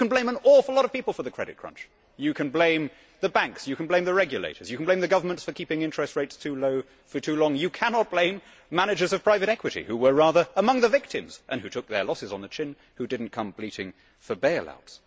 You can blame an awful lot of people for the credit crunch you can blame the banks, you can blame the regulators, you can blame the governments for keeping interest rates too low for too long but you cannot blame managers of private equity who were rather among the victims and who took their losses on the chin and who did not come bleating for bail outs.